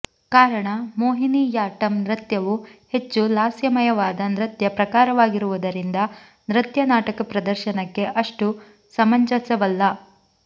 ಕಾರಣ ಮೋಹಿನಿಯಾಟ್ಟಂ ನೃತ್ಯವು ಹೆಚ್ಚು ಲಾಸ್ಯಮಯವಾದ ನೃತ್ಯ ಪ್ರಕಾರವಾಗಿರುವುದರಿಂದ ನೃತ್ಯ ನಾಟಕ ಪ್ರದರ್ಶನಕ್ಕೆ ಅಷ್ಟು ಸಮಂಜಸವಲ್ಲ